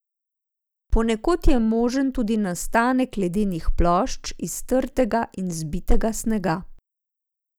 Ponekod je možen tudi nastanek ledenih plošč iz trdega in zbitega snega.